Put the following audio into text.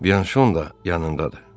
Byanşon da yanındadır.